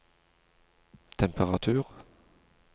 temperatur